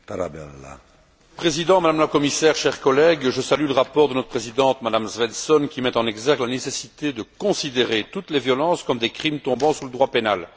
Monsieur le Président, Madame la Commissaire, chers collègues, je salue le rapport de notre présidente, Mme Svensson, qui met en exergue la nécessité de considérer toutes les violences comme des crimes tombant sous le droit pénal.